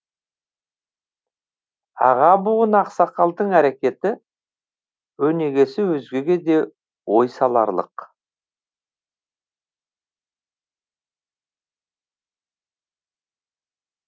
аға буын ақсақалдың әрекеті өнегесі өзгеге де ой саларлық